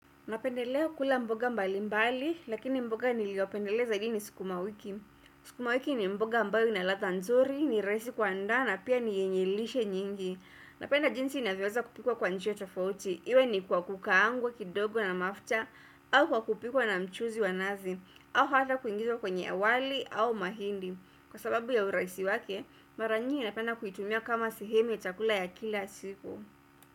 Napendelea kula mboga mbali mbali, lakini mboga niliopendelea zaidi ni sukumawiki. Sukumawiki ni mboga ambayo ina ladha nzuri, ni rahisi kuandaa na pia ni yenye lishe nyingi. Napenda jinsi inavyoweza kupikwa kwa njia tofauti. Iwe ni kwa kukaangwa, kidogo na mafuta, au kwa kupikwa na mchuzi wa nazi, au hata kuingizwa kwenye wali au mahindi. Kwa sababu ya urahisi wake, mara nyingi napenda kuitumia kama sehemu ya chakula ya kila siku.